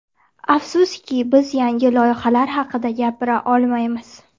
Afsuski, biz yangi loyihalar haqida gapira olmaymiz.